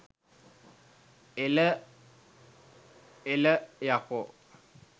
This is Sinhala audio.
එල එල යකෝ